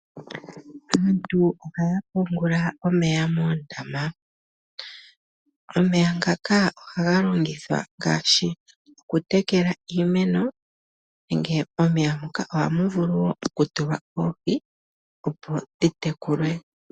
Aantu ohaya pungula omeya moondama. Omeya ngaka ohaga longithwa ngaashi okutekela iimeno nenge momeya moka ohamu vulu wo okutulwa oohi opo dhi tekulwe.